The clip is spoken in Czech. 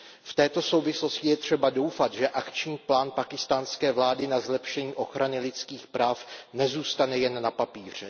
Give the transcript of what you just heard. V této souvislosti je třeba doufat, že akční plán pákistánské vlády na zlepšení ochrany lidských práv nezůstane jen na papíře.